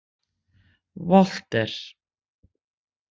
Walter